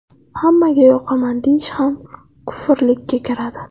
Hammaga yoqaman deyish ham kufrlikka kiradi.